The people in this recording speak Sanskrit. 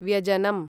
व्यजनम्